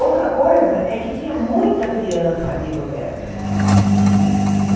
Outra coisa é que tinha muita criança ali por perto.